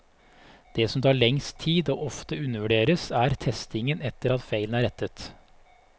Det som tar lengst tid, og ofte undervurderes, er testingen etter at feilene er rettet.